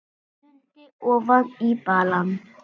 Stundi ofan í balann.